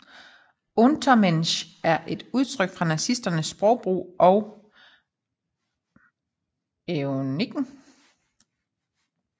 Untermensch er et udtryk fra nazisterne sprogbrug og eugeniken